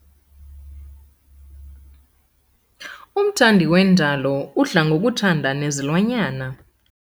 Umthandi wendalo udla ngokuthanda nezilwanyana.